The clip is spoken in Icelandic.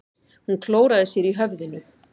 Hún klóraði sér í höfðinu.